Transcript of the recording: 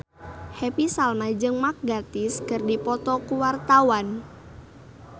Happy Salma jeung Mark Gatiss keur dipoto ku wartawan